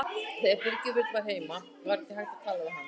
Og þegar Birgir Björn var heima var ekki hægt að tala við hana.